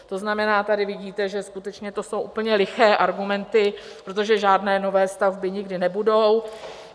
To znamená, tady vidíte, že skutečně to jsou úplně liché argumenty, protože žádné nové stavby nikdy nebudou.